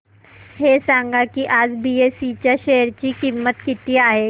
हे सांगा की आज बीएसई च्या शेअर ची किंमत किती आहे